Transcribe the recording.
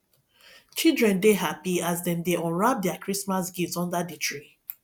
children dey happy as dem dey unwrap their christmas gifts under the tree